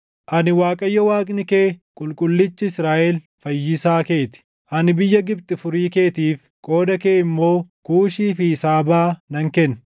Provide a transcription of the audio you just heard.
Ani Waaqayyo Waaqni kee, Qulqullichi Israaʼel Fayyisaa keeti; ani biyya Gibxi furii keetiif, qooda kee immoo Kuushii fi Saabaa nan kenna.